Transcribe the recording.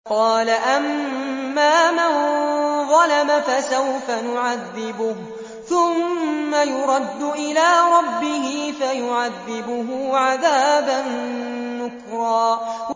قَالَ أَمَّا مَن ظَلَمَ فَسَوْفَ نُعَذِّبُهُ ثُمَّ يُرَدُّ إِلَىٰ رَبِّهِ فَيُعَذِّبُهُ عَذَابًا نُّكْرًا